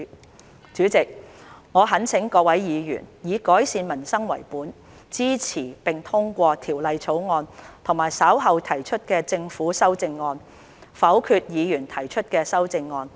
代理主席，我懇請各位議員，以改善民生為本，支持並通過《條例草案》和稍後提出的政府修正案，否決議員提出的修正案。